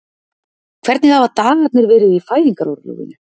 Hvernig hafa dagarnir verið í fæðingarorlofinu?